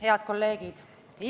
Head kolleegid!